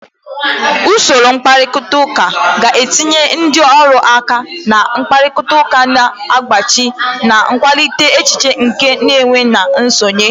Usoro mkparịta ụka ga-etinye ndị ọrụ aka na mkparịta ụka na nzaghachi, na-akwalite echiche nke nwe na nsonye.